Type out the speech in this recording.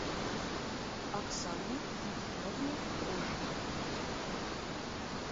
оксане ефимовне трошиной